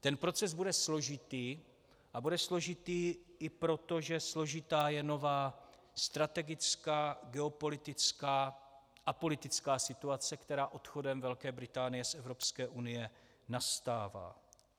Ten proces bude složitý, a bude složitý i proto, že složitá je nová strategická geopolitická a politická situace, která odchodem Velké Británie z Evropské unie nastává.